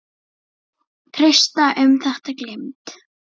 Trausta um þetta gleymd.